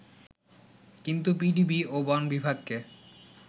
কিন্তু পিডিপি ও বন বিভাগকে